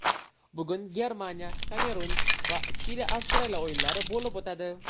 Bugun GermaniyaKamerun va ChiliAvstraliya o‘yinlari bo‘lib o‘tadi.